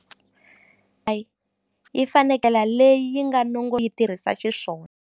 yi fanekele leyi yi nga yi tirhisa xiswona.